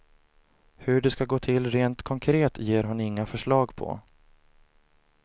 Hur det ska gå till rent konkret ger hon inga förslag på.